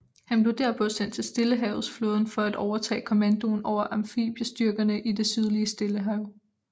Han blev derpå sendt til stillehavetsflåden for at overtage kommandoen over amfibiestyrkerne i det sydlige stillehav